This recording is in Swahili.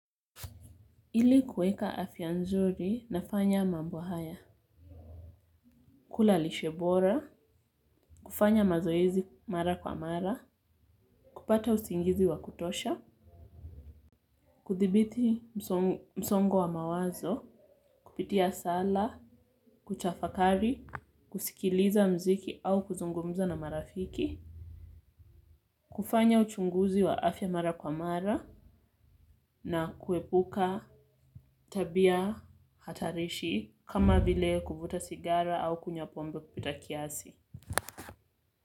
Ili kuweka afya nzuri nafanya mambo haya. Kula lishebora, kufanya mazoezi mara kwa mara, kupata usingizi wa kutosha, kuthibiti msongo wa mawazo, kupitia sala, kutafakari, kusikiliza mziki au kuzungumza na marafiki, kufanya uchunguzi wa afya mara kwa mara na kuepuka tabia hatarishi kama vile kuvuta sigara au kunyapombe kupita kiasi.